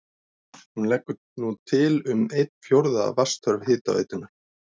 Hún leggur nú til um einn fjórða af vatnsþörf hitaveitunnar.